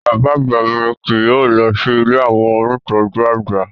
Bàbá àgbà mi kì yóò lọ sí ilé àwọn ónìtọ́jú àgbà